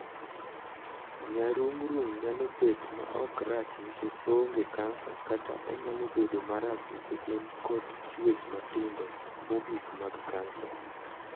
Nyarung'rung' nyalo bet ma ok rach nikech oonge kansa kata onyalo bedo ma rach nikech en kod chuech matindo mogikmag kansa.